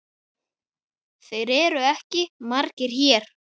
Þeir eru ekki margir hér.